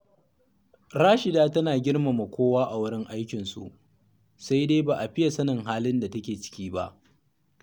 Rashida tana girmama kowa a wurin aikinsu, sai dai ba a fiye sanin halin da take ciki ba